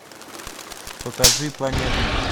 покажи планеты